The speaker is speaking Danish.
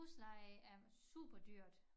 Husleje er superdyrt